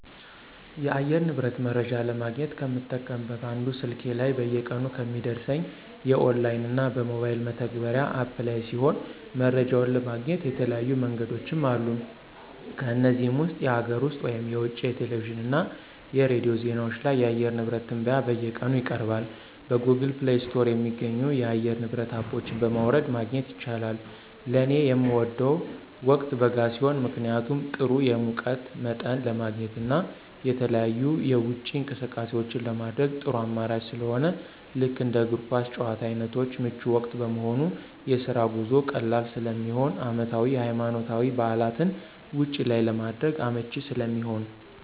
የአየር ንብረት መረጃ ለማግኘት ከምጠቀምበት አንዱ ስልኬ ላይ በየቀኑ ከሚደርሰኝ የኦንላይን እና በሞባይል መተግበሪያ (አፕ) ላይ ሲሆን መረጃውን ለማግኘት የተለያዩ መንገዶችም አሉ ከነዚህም ውስጥ የሀገር ውስጥ (የውጭ) የቴሌቪዥን እና የሬዲዮ ዜናዎች ላይ የአየር ንብረት ትንበያ በየቀኑ ይቀርባሉ። በGoogle Play ስቶር የሚገኙ የአየር ንብረት አፖች በማውረድ ማግኘት ይቻላል። ለኔ ምወደው ወቅት በጋ ሲሆን ምክንያቱም ጥሩ የሙቀት መጠን ለማግኘት እና የተለያዩ የውጪ እንቅስቃሴዎችን ለማድረግ ጥሩ አማራጭ ስለሆነ ልክ እንደ እግር ኳስ ጭዋታ አይነቶች ምቹ ወቅት በመሆኑ፣ የስራ ጉዞ ቀላል ስለሚሆን፣ አመታዊ የሀይማኖታዊ በዓላትን ውጭ ላይ ለማድረግ አመቺ ስለሚሆን።